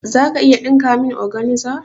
Za ka iya ɗinka min organza?